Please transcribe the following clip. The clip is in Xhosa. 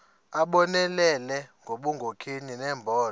abonelele ngobunkokheli nembono